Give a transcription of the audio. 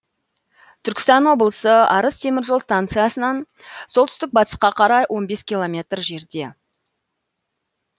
түркістан облысы арыс темір жол станциясынан солтүстік батысқа қарай он бес километр жерде